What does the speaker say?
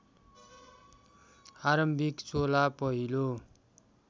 आरम्भिक चोला पहिलो